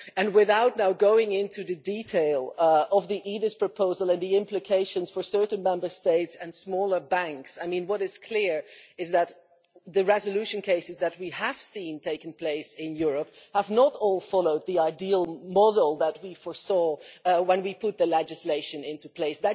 Without going into the detail of the EDIS proposal and the implications for certain Member States and smaller banks, what is clear is that the resolution cases that we have seen taking place in Europe have not all followed the ideal model that we foresaw when we put the legislation into place.